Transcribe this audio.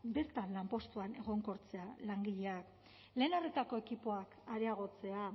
bertan lanpostuan egonkortzea langileak lehen arretako ekipoak areagotzea